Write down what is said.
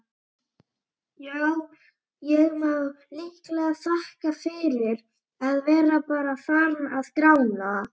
Já, ég má líklega þakka fyrir að vera bara farinn að grána.